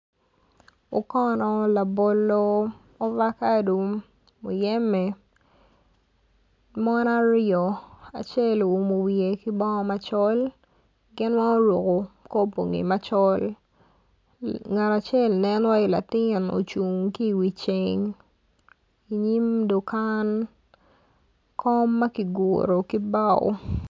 Okono labolo ovacado muyembe mon aryo acel oumo wiye ki bongo macol gin weng oruko kor bongi macol ngat acel nen waiyi latin ocun ki i wi ceng i nyim dukan kom ma kiguro ki bao.